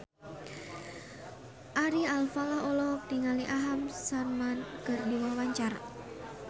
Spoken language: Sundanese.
Ari Alfalah olohok ningali Aham Sharma keur diwawancara